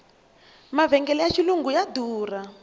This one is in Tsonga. mavhengele ya xilungu ya durha